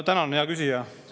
Tänan, hea küsija!